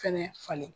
Fɛnɛ falen